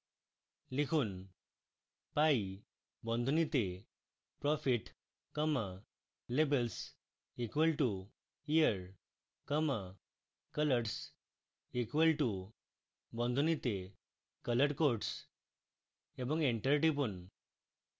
লিখুন pie বন্ধনীতে profit comma labels equal to year comma colors equal to বন্ধনীতে color codes এবং enter টিপুন